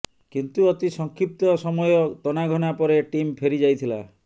କିନ୍ତୁ ଅତି ସଂକ୍ଷିପ୍ତ ସମୟ ତନାଘନା ପରେ ଟିମ୍ ଫେରି ଯାଇଥିଲା